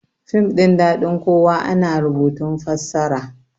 fim ɗin dadin kowa ana rubutun fassara